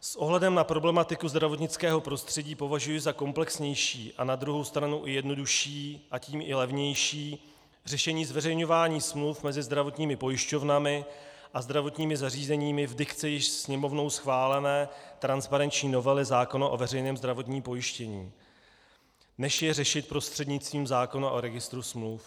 S ohledem na problematiku zdravotnického prostředí považuji za komplexnější a na druhou stranu i jednodušší, a tím i levnější řešení zveřejňování smluv mezi zdravotními pojišťovnami a zdravotními zařízeními v dikci již Sněmovnou schválené transparenční novely zákona o veřejném zdravotním pojištění, než je řešit prostřednictvím zákona o Registru smluv.